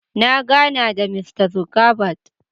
Na gana da Mista Zuckerberg.